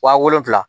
Wa wolonfila